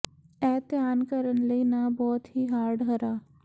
ਇਹ ਧਿਆਨ ਕਰਨ ਲਈ ਨਾ ਬਹੁਤ ਹੀ ਹਾਰਡ ਹਰਾ